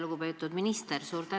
Lugupeetud minister!